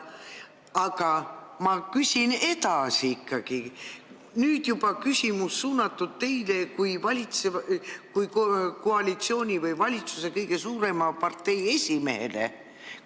Aga ma küsin ikkagi edasi, nüüd on küsimus suunatud teile kui koalitsiooni või valitsuse kõige suurema partei esimehele.